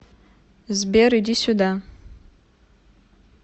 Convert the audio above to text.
сбер иди сюда